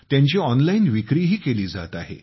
त्यांची ऑनलाइन विक्रीही केली जात आहे